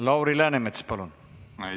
Lauri Läänemets, palun!